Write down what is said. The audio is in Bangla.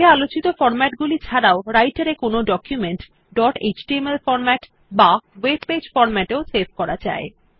আগে আলোচিত ফরম্যাট গুলি ছাড়াও রাইটের এ কোনো ডকুমেন্ট ডট এচটিএমএল ফরম্যাট বা ওয়েব পেজ ফরম্যাট এও সেভ করা যায়